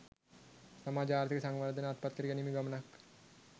සමාජ ආර්ථික සංවර්ධන අත්පත් කර ගැනීමේ ගමනක්